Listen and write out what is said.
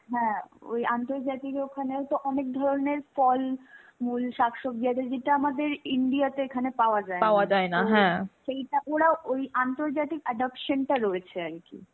হ্যাঁ, ওই আন্তর্জাতিক ওখানেও তো অনেক ধরনের ফল, মূল, শাকসব্জি আছে যেটা আমাদের India তে এখানে পাওয়া যায়না সেইটা ওরা ওই আন্তজাতিক adoption টা রয়েছে আর কি.